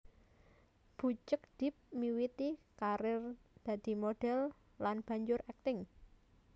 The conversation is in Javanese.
Bucek depp miwiti karir dadi modhel lan banjur akting